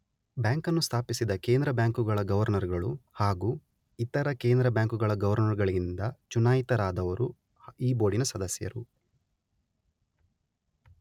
ಬ್ಯಾಂಕನ್ನು ಸ್ಥಾಪಿಸಿದ ಕೇಂದ್ರ ಬ್ಯಾಂಕುಗಳ ಗೌರ್ನರುಗಳು ಹಾಗೂ ಇತರ ಕೇಂದ್ರ ಬ್ಯಾಂಕುಗಳ ಗೌರ್ನರುಗಳಿಂದ ಚುನಾಯಿತರಾದವರು ಈ ಬೋರ್ಡಿನ ಸದಸ್ಯರು.